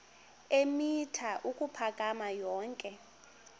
eemitha ukuphakama yonke